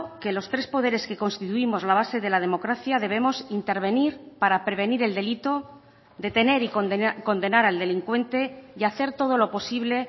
que los tres poderes que constituimos la base de la democracia debemos intervenir para prevenir el delito detener y condenar al delincuente y hacer todo lo posible